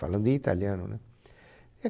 Falando em italiano, né? É